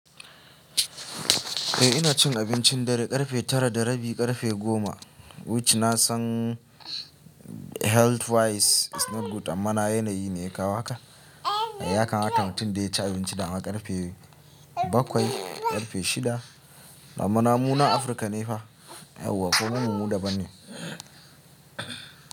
Eh ina cin abinci darr karfe tara da rabi karfe goma, which na san health wise is not good amma na yanayi ne ya kawo haka. Yakamata mutun da ya ci abinci da dama karfe bakwai, karfe shida. Amma namu nan Afirka ne fa, yawwa kuma mu daban ne.